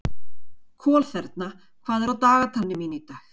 Kolþerna, hvað er á dagatalinu mínu í dag?